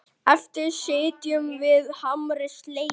Eftir sitjum við harmi slegin.